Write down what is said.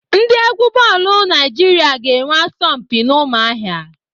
Ndị égwú bọọlụ Naịjirịa ga-enwe asọmpi n'Ụ́mụ̀ahịà.